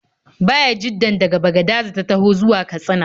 Bayajiddan daga Bagadaza ya taho zuwa Katsina.